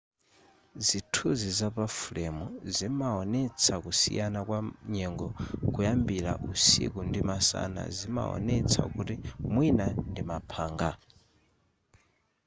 zithunzi zapa fulemu zimawonetsa kusiyana kwa nyengo kuyambira usiku ndi masana zimawonetsa kuti mwina ndi maphanga